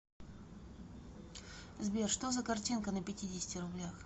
сбер что за картинка на пятидесяти рублях